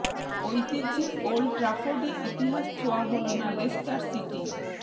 ঐতিহ্যের ওল্ড ট্র্যাফোর্ডে ইতিহাস ছোয়া হল না লেস্টার সিটির